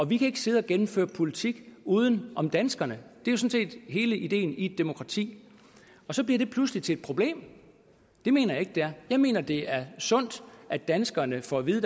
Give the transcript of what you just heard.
vi kan ikke sidde og gennemføre politik uden om danskerne det er sådan set hele ideen i et demokrati så bliver det pludselig til et problem det mener jeg ikke det er jeg mener at det er sundt at danskerne får at vide